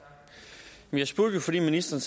mest indlysende